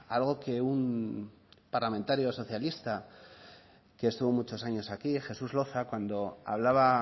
a algo que un parlamentario socialista que estuvo muchos años aquí jesús loza cuando hablaba